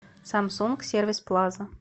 самсунг сервис плаза